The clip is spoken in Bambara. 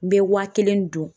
N bɛ wa kelen dun